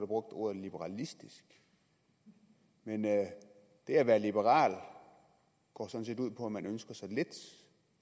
ordet liberalistisk men det at være liberal går sådan set ud på at man ønsker så lidt